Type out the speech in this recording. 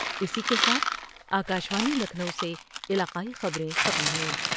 اسی کے ساتھ آ کا شوانی لکھنو سے علاقائی خبر یں ختم ہوئیں